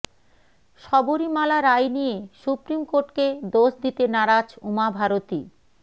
শবরীমালা রায় নিয়ে সুপ্রিম কোর্টকে দোষ দিতে নারাজ উমা ভারতী